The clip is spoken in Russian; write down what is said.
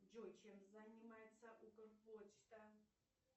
джой чем занимается укрпочта